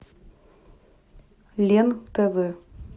лен тв